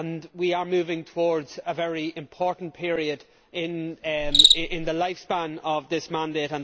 We are moving towards a very important period in the lifespan of this mandate.